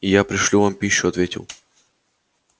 я пришлю вам пищу ответил